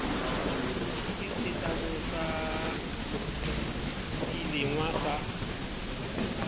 ke setlamo sa dilengwa sa